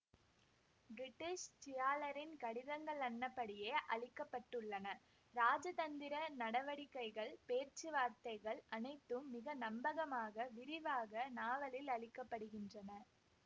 British ட்சியாலரின் கடிதங்கள்னப்படியே அளிக்கப்பட்டுள்ளன ராஜதந்திர நடவடிக்கைகள் பேச்சுவார்த்தைகள் அனைத்தும் மிக நம்பகமாக விரிவாக நாவலில் அளிக்கப்படுகின்றன